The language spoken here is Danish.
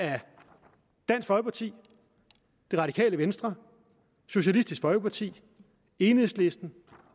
af dansk folkeparti det radikale venstre socialistisk folkeparti enhedslisten